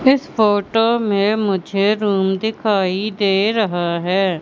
इस फोटो में मुझे रूम दिखाई दे रहा है।